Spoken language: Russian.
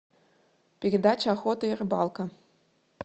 передача охота и рыбалка